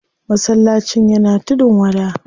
Masallacin yana tudun wada.